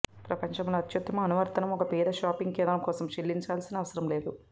ప్రపంచంలో అత్యుత్తమ అనువర్తనం ఒక పేద షాపింగ్ కేంద్రం కోసం చెల్లించాల్సిన అవసరం లేదు